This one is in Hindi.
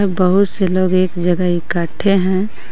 बहुत से लोग एक जगह एकट्ठे हैं.